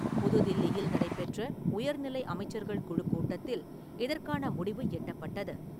புதுதில்லியில் நடைபெற்ற உயர்நிலை அமைச்சர்கள் குழுக்கூட்டத்தில் இதற்கான முடிவு எட்டப்பட்டது.